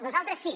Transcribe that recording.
nosaltres sí